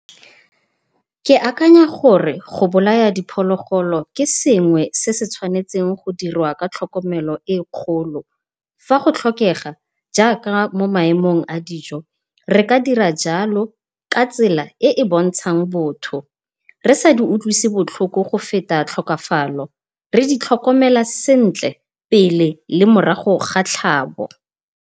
Ke akanya gore go bolaya diphologolo, ke sengwe se se tshwanetseng go dirwa ka tlhokomelo e kgolo. Fa go tlhokega jaaka mo maemong a dijo re ka dira jalo ka tsela e e bontshang botho, re sa di utlwisi botlhoko go feta tlhokafalo, re di tlhokomela sentle pele le morago ga tlhabo.